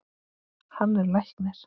Hann er læknir.